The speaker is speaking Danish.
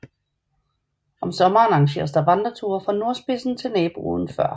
Om sommeren arrangeres der vandreture fra nordspidsen til naboøen Før